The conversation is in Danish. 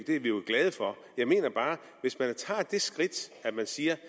er vi jo glade for jeg mener bare at hvis man tager det skridt at man siger